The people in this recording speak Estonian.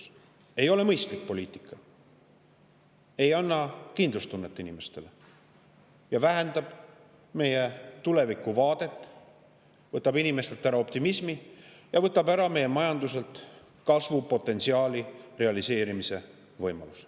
See ei ole mõistlik poliitika, ei anna kindlustunnet inimestele ja meie tulevikuvaadet, võtab inimestelt ära optimismi ja meie majanduselt kasvupotentsiaali realiseerimise võimaluse.